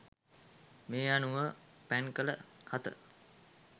මේ අනුව පැන් කළ හත